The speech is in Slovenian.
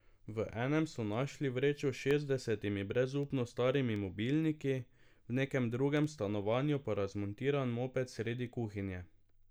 V enem so našli vrečo s šestdesetimi brezupno starimi mobilniki, v nekem drugem stanovanju pa razmontiran moped sredi kuhinje.